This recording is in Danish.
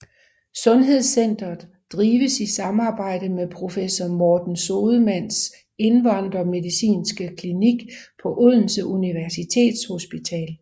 Sundhedscentret drives i samarbejde med professor Morten Sodemanns indvandrermedicinske klinik på Odense Universitetshospital